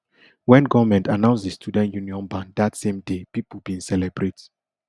wen goment announce di student union ban dat same day pipo bin celebrate